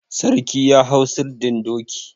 Sarki ya hau sirdin doki.